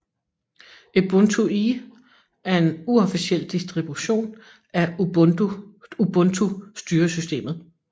Ubuntu Eee er en uofficiel distribution af Ubuntu styresystemet